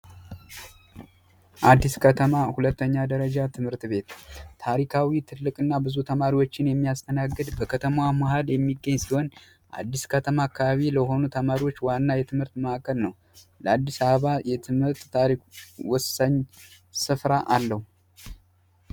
አዲስ ከተማ ሁለተኛ ደረጃ ትምህርት ቤት ታሪካዊ ትልቅ እና ብዙ ተማሪዎችን የሚያስተናግድ በከተማ ማሃል የሚገኝ ሲሆን አዲስ ከተማ ካባቢ ለሆኑ ተማሪዎች ዋና የትምህርት መዕከል ነው። ለአዲስ አሕባ የትምህርት ታሪክ ወሳኝ ስፍራ አለው።